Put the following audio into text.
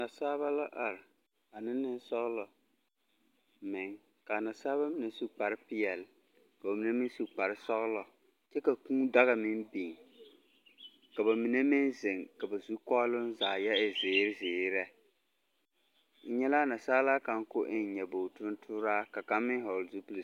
Nasaaba la are, ba ne nensɔglɔ meŋ. Ka a nasaaba mine su kparre peɛl, ka ba mine meŋ su kparre sɔglɔ, kyɛ ka kūū daga meŋ biŋ, ka ba mine meŋ zeŋ ka ba zukɔɔloŋ zaa yɔ e zeere zeere lɛ. Nnyɛ laa nasaalaa kaŋ ka o toore nyɔbogiri tontooraa, ka kaŋ meŋ hɔɔl zupil.